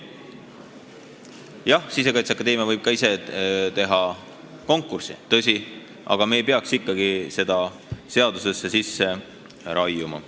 Tõsi, Sisekaitseakadeemia võib ka ise konkursi teha, aga me ei peaks seda ikkagi seadusesse sisse raiuma.